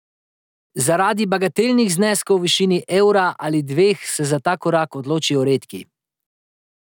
Zaradi bagatelnih zneskov v višini evra ali dveh se za ta korak odločijo redki.